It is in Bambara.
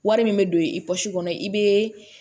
Wari min bɛ don i pɔsi kɔnɔ i bɛ